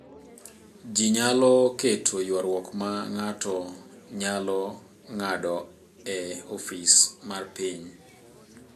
Ji nyalo keto ywaruok ma ng’ato nyalo ng’ado e ofis mar piny.